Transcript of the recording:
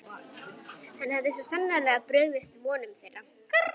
Hann hafði svo sannarlega brugðist vonum þeirra.